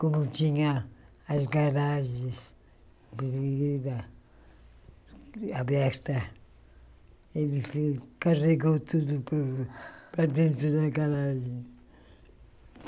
Como tinha as garagens abertas, ele fez carregou tudo para dentro da garagem.